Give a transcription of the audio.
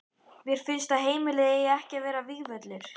Mér finnst að heimilið eigi ekki að vera vígvöllur.